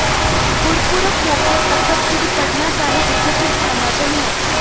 ਗੁਰਪੁਰਬ ਮੌਕੇ ਤਖ਼ਤ ਸ੍ਰੀ ਪਟਨਾ ਸਾਹਿਬ ਵਿਖੇ ਕਿਰਪਾਨਾਂ ਚੱਲੀਆਂ